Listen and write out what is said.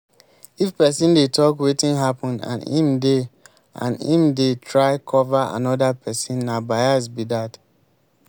if person dey talk wetin happen and im dey and im dey try cover anoda person na bias be that